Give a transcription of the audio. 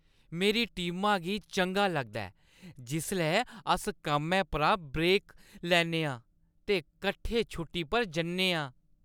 मेरी टीमा गी चंगा लगदा ऐ जिसलै अस कम्मै परा ब्रेक लैन्ने आं ते कट्ठे छुट्टी पर जन्ने आं